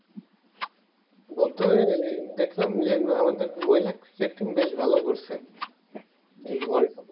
বর্তমানে দেখলাম যে আমাদের মহিলা ক্রিকেট team বেশ ভালো করছে world cup